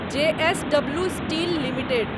जे S W steel limited